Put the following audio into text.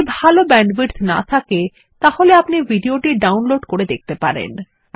যদি ভাল ব্যান্ডউইডথ না থাকে তাহলে আপনি ভিডিও টি ডাউনলোড করে দেখতে পারেন